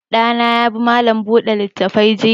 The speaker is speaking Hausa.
Ɗa na ya bi malam buɗe littafi jiya.